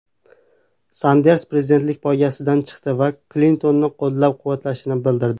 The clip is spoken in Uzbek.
Sanders prezidentlik poygasidan chiqdi va Klintonni qo‘llab-quvvatlashini bildirdi .